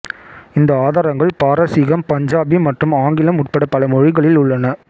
இந்த ஆதாரங்கள் பாரசீகம் பஞ்சாபி மற்றும் ஆங்கிலம் உட்பட பல மொழிகளில் உள்ளன